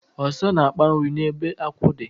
Ọsa na-akpa nri n'ebe akwụ dị.